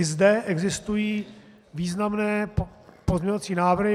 I zde existují významné pozměňovací návrhy.